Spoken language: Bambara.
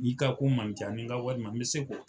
I ka ko ma can ni ka walima n bɛ se k'o kɛ.